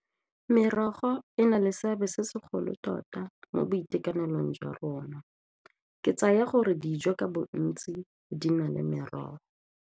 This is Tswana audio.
Merogo e na le seabe se segolo tota mo boitekanelong jwa rona, ke tsaya gore dijo ka bontsi di na le merogo.